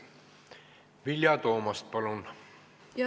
Vilja Toomast, palun!